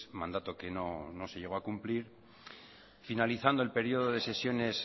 mandato que no se llegó a cumplir finalizando el periodo de sesiones